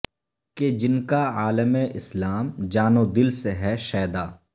کہ جن کا عالم اسلام جان و دل سے ہے شیدا